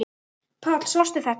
Páll: Sástu þetta?